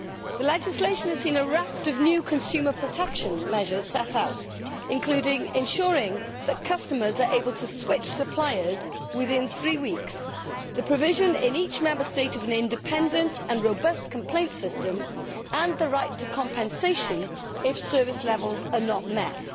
The legislation has seen a raft of new consumer protection measures set out, including ensuring that customers are able to switch suppliers within three weeks, the provision in each Member State of an independent and robust complaints system, and the right to compensation if service levels are not met.